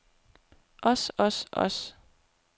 os os os